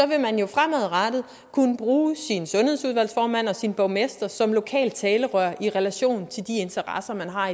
vil man jo fremadrettet kunne bruge sin sundhedsudvalgsformand og sin borgmester som lokalt talerør i relation til de interesser man har